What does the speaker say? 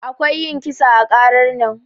Akwai yin kisa ã karar nan.